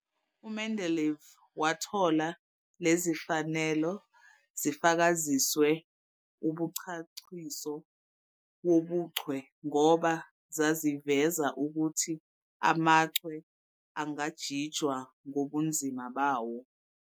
UMendeleev wathola lezifanelo zifakaziswe umchachiso wobuchwe ngoba zaziveza ukuthi amachwe angajinjwa ngobunzima bawo.